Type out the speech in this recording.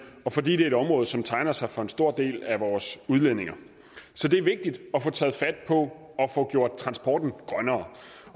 og fordi det er et område som tegner sig for en stor del af vores udledninger så det er vigtigt at få taget fat på at få gjort transporten grønnere